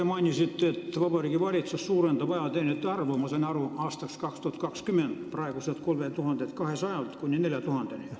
Te mainisite, et Vabariigi Valitsus suurendab ajateenijate arvu, ma sain aru, aastaks 2020 praeguselt 3200-lt kuni 4000-ni.